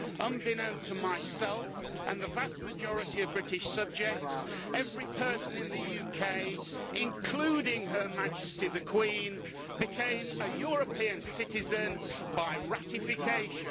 Unbeknown to myself and the vast majority of British subjects, every person in the UK, including Her Majesty The Queen, became a European citizen by ratification.